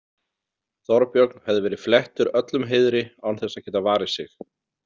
Þorbjörn hefði verið flettur öllum heiðri án þess að geta varið sig.